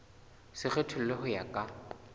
se kgethollwe ho ya ka